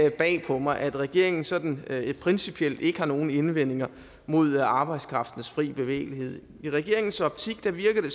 ikke bag på mig at regeringen sådan principielt ikke har nogen indvendinger mod arbejdskraftens fri bevægelighed i regeringens optik virker det